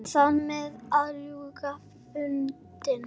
Þarmeð var lausnin fundin.